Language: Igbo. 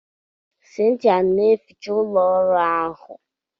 Cynthia na-ehicha ụlọ ọrụ ahụ.